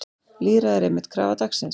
Lýðræði er einmitt krafa dagsins.